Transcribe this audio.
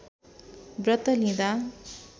व्रत लिँदा